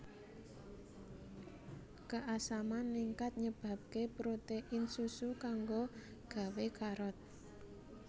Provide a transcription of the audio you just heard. Keasaman ningkat nyebabké protein susu kanggo gawé karot